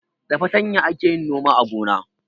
Da fartanya ake yin noma a gona.